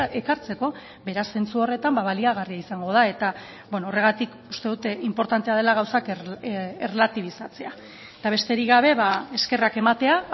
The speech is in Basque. ekartzeko beraz zentzu horretan baliagarria izango da eta horregatik uste dut inportantea dela gauzak erlatibizatzea eta besterik gabe eskerrak ematea